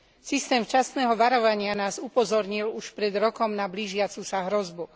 Systém včasného varovania nás upozornil už pred rokom na blížiacu sa hrozbu.